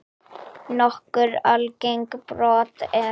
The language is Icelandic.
Nokkur algeng brot eru